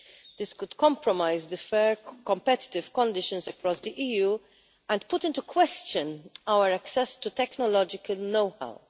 This could compromise fair competitive conditions across the EU and put into question our access to technological know-how.